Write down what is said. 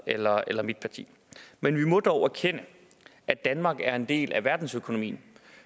eller eller mit parti men vi må dog erkende at danmark er en del af verdensøkonomien